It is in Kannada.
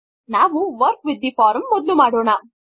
ನಾವು ವರ್ಕ್ ವಿತ್ ಥೆ ಫಾರ್ಮ್ ಮೊದಲು ಮಾಡೋಣ